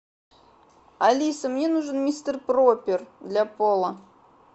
алиса мне нужен мистер пропер для пола